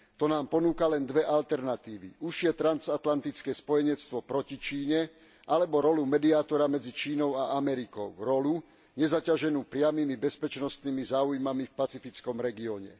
To nám ponúka len dve alternatívy užšie transatlantické spojenectvo proti Číne alebo rolu mediátora medzi Čínou a Amerikou rolu nezaťaženú priamymi bezpečnostnými záujmami v pacifickom regióne.